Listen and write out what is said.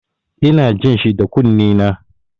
Ina jin shi da kunnena.